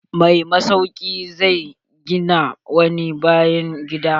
Mai masauki zai gina wani bayan gida.